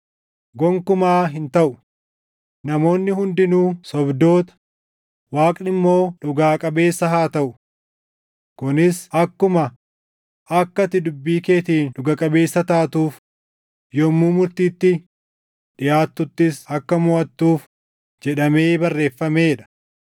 Gonkumaa hin taʼu! Namoonni hundinuu sobdoota, Waaqni immoo dhugaa qabeessa haa taʼu. Kunis akkuma, “Akka ati dubbii keetiin dhuga qabeessa taatuuf, yommuu murtiitti dhiʼaattuttis akka moʼattuuf” + 3:4 \+xt Far 51:4\+xt* jedhamee barreeffamee dha.